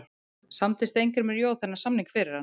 Samdi Steingrímur Joð þennan samning fyrir hann?